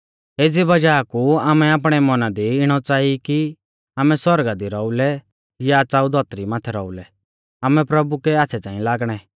एज़ी वज़ाह कु आमै आपणै मौना दी इणौ च़ांई कि आमै सौरगा दी रौउलै या च़ाऊ धौतरी माथै रौउलै आमै प्रभु कै आच़्छ़ै च़ांई लागणै